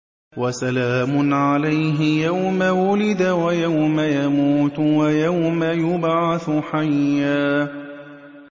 وَسَلَامٌ عَلَيْهِ يَوْمَ وُلِدَ وَيَوْمَ يَمُوتُ وَيَوْمَ يُبْعَثُ حَيًّا